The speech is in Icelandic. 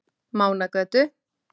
Mánagötu